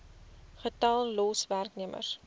getal los werknemers